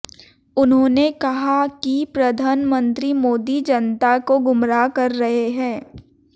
उन्होंने कहा कि प्रधनमंत्री मोदी जनता को गुमराह कर रहे हैं